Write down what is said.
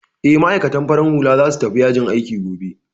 Eh, ma'aikatan farar hula za su tafi yajin aiki gobe